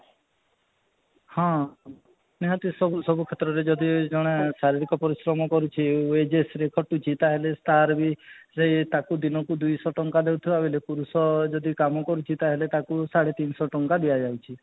ହଁ, ନିହାତି ସବୁ ସବୁ କ୍ଷେତ୍ରରେ ଯଦି ଜଣେ ଶାରୀରିକ ପରିଶ୍ରମ କରୁଛି wages ରେ କଟୁଛି ତା'ହେଲେ ତା'ର ବି ସେଇ ଦିନକୁ ଦୁଇ ଶହ ଟଙ୍କା ଦେଉଥିବା ବେଳେ ପୁରୁଷ ଯଦି କାମ କରୁଛି ତା ହେଲେ ତାକୁ ସାଢେ ତିନିଶହ ଟଙ୍କା ଦିୟା ଯାଇଛି